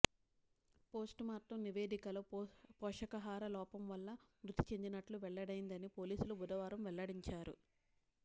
post mortem నివేదికలో పోషకాహార లోపం వల్ల మృతి చెందినట్లు వెల్లడైందని పోలీసులు బుధవారం వెల్లడించారు